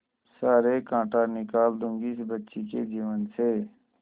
सारे कांटा निकाल दूंगी इस बच्ची के जीवन से